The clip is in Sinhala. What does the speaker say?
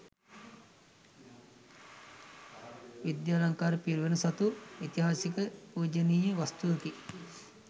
විද්‍යාලංකාර පිරිවෙන සතු ඓතිහාසික පූජනීය වස්තුවකි.